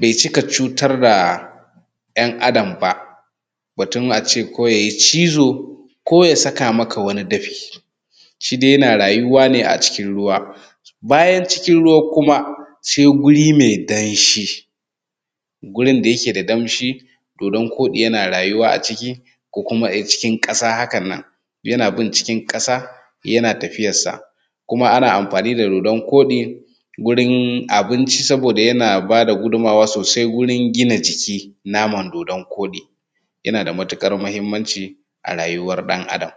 bai cika cutar da ‘yan Adam ba, batun a ce ko yayi cizo, ko ya saka maka wani dafi, shi dai yana rayuwa ne a cikin ruwa. Bayan cikin ruwa kuma sai guri mai danshi, gurin da yake da danshi, to dodan koɗi yana rayuwa a ciki ko kuma a cikin ƙasa. Hakan nan yana bin cikin ƙasa yana tafiyansa, kuma ana amfani da dodan koɗi gurin abinci saboda yana ba da gudunmuwa sosai wurin gina jiki. Naman dodan koɗi yana da matuƙar muhinmanci a rayuwar ɗan Adam.